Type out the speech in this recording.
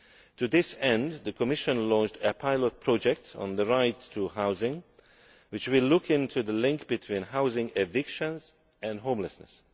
To this end, the Commission launched a pilot project on the right to housing, which will look into the link between housing evictions and homelessness.